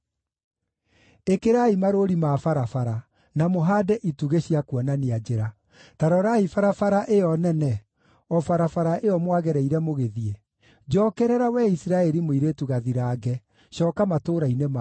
“Ĩkĩrai marũũri ma barabara, na mũhaande itugĩ cia kuonania njĩra. Ta rorai barabara ĩyo nene, o barabara ĩyo mwagereire mũgĩthiĩ. Njookerera, wee Isiraeli mũirĩtu gathirange, cooka matũũra-inĩ maku.